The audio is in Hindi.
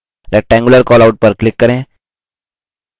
rectangular callout पर click करें